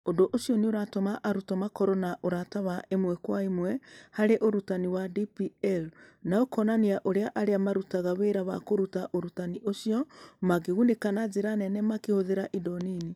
Ũndũ ũcio nĩ ũratũma arutwo makorũo na ũrata wa 1:1 harĩ ũrutani wa DPL, no ũkonania ũrĩa arĩa marutaga wĩra wa kũruta ũrutani ũcio mangĩgunĩka na njĩra nene makĩhũthĩra indo nini.